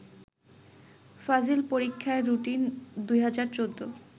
ফাজিল পরীক্ষার রুটিন ২০১৪